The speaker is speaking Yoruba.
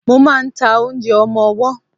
Mo ma ń ta oúnjẹ ọmọwọ́.